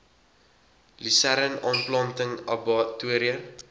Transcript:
lusern aanplanting abbatior